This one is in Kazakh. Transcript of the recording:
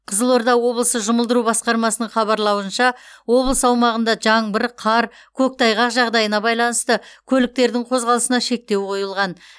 қызылорда облысы жұмылдыру басқармасының хабарлауынша облыс аумағында жаңбыр қар көктайғақ жағдайына байланысты көліктердің қозғалысына шектеу қойылған